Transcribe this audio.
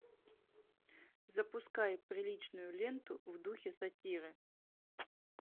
запускай приличную ленту в духе сатиры